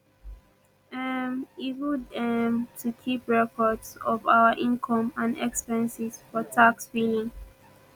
um e good um to keep records of our income and expenses for tax filing